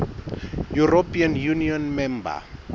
european union member